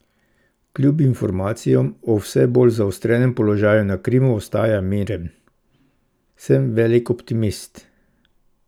Kljub informacijam o vse bolj zaostrenem položaju na Krimu ostaja miren: 'Sem velik optimist.